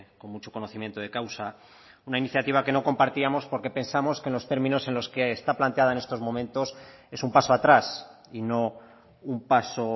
con mucho conocimiento de causa una iniciativa que no compartíamos porque pensamos que en los términos en los que está planteada en estos momentos es un paso atrás y no un paso